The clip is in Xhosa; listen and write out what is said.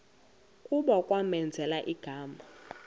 kuba kwamenzela igama